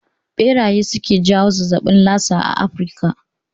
Ɓeraye suke jawo zazzabin lasa a Afrika